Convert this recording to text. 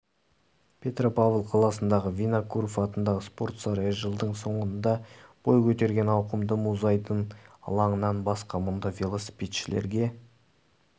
петропавл қаласындағы винокуров атындағы спорт сарайы жылдың соңында бой көтерген ауқымды мұзайдын алаңынан басқа мұнда велосипедшілерге